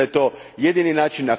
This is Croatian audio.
Mislim da je to jedini način.